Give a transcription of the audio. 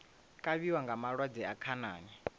kavhiwa nga malwadze a khanani